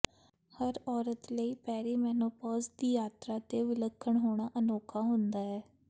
ਹਰ ਔਰਤ ਲਈ ਪੇਰੀਮੈਨੋਪੌਜ਼ ਦੀ ਯਾਤਰਾ ਤੇ ਵਿਲੱਖਣ ਹੋਣਾ ਅਨੋਖਾ ਹੁੰਦਾ ਹੈ